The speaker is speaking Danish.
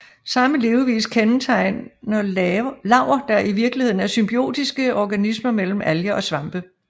Samme levevis kendetegner laver der i virkeligheden er symbiotiske organismer mellem alger og svampe